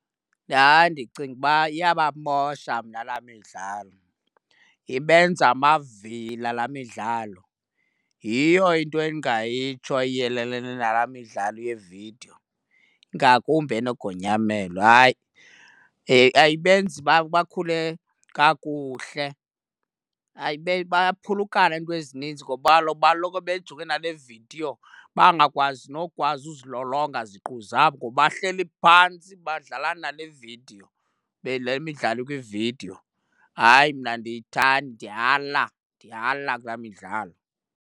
Hayi, ndicinga uba iyabamosha mna laa midlalo. Ibenza amavila laa midlalo. Yiyo into endingayitsho iyelelene nala midlalo yevidiyo, ngakumbi enogonyamelo. Hayi, ayibenzi uba bakhule kakuhle. Bayaphulukane kwezininzi ngoba kaloku baloko bejonge nale vidiyo, bangakwazi nokukwazi uzilolonga ziqu zabo ngoba bahleli phantsi badlala nale vidiyo, le le midlalo ikwividiyo. Hayi, mna andiyithandi ndiyala. Ndiyala kulaa midlalo.